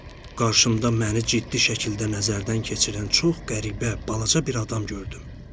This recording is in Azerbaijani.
Qarşımda məni ciddi şəkildə nəzərdən keçirən çox qəribə, balaca bir adam gördüm.